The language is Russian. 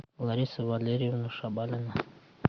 лариса валерьевна шабанова